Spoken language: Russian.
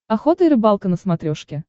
охота и рыбалка на смотрешке